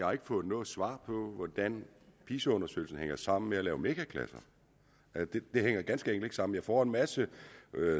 har fået noget svar på hvordan pisa undersøgelsen hænger sammen med at lave megaklasser det hænger ganske enkelt ikke sammen jeg får en masse